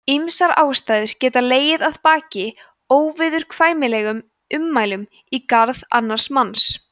ýmsar ástæður geta legið að baki óviðurkvæmilegum ummælum í garð annars manns